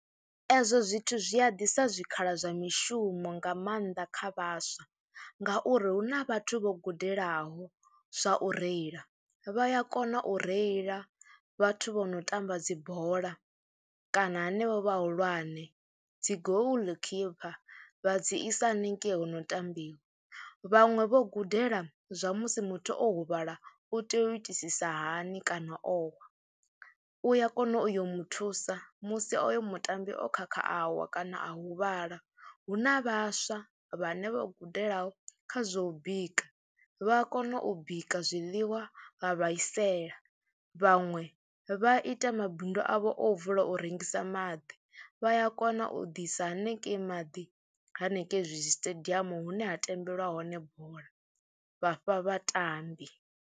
Ezwo zwithu zwi a ḓisa zwikhala zwa mishumo nga maanḓa kha vhaswa ngauri hu na vhathu vho gudelaho zwa u reila, vha ya kona u reila vhathu vho no tamba dzi bola kana hanevho vhahulwane. Dzi goal keeper vha dzi isa hanengei ho no ambiwa, vhaṅwe vho gudela zwa musi muthu o huvhala u tea u itisisa hani kana owa, u ya kona u yo mu thusa musi oyo mutambi o khakha a wa kana a hu vhala. Hu na vhaswa vhane vha gudelaho kha zwa u bika vha a kona u bika zwiḽiwa vha vha isela, vhaṅwe vha ita mabindu avho o vula u rengisa maḓi, vha ya kona u ḓisa hanengei maḓi hanengei hezwi zwisiṱediamu hune ha tambeliwa hone bola vha fha vhatambi.